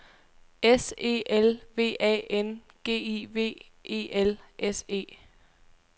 S E L V A N G I V E L S E